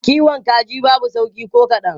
Kiwon kaji babu sauƙi ko kadan.